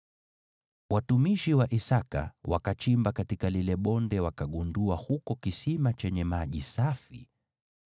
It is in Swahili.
Watumishi wa Isaki wakachimba katika lile bonde wakagundua huko kisima chenye maji safi.